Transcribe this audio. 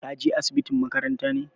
Ka je asibitin makaranta ne?